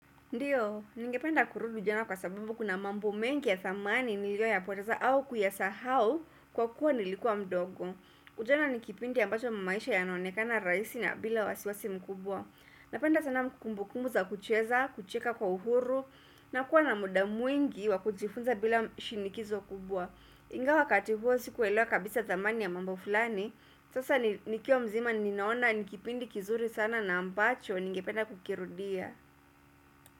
Ndiyo, ningependa kurudi ujana kwa sababu kuna mambo mengi ya dhamani niliyo yapoteza au kuyasahau kwa kuwa nilikuwa mdogo. Ujana ni kipindi ambacho maisha yanaonekana rahisi na bila wasiwasi mkubwa. Napenda sana kumbu kumbu za kucheza, kucheka kwa uhuru, na kuwa na muda mwingi wa kujifunza bila shinikizo kubwa. Ingawa wakati huo sikuelewa kabisa dhamani ya mambo fulani, sasa nikiwa mzima ninaona ni kipindi kizuri sana na ambacho ningependa kukirudia.